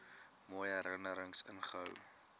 mooi herinnerings inhou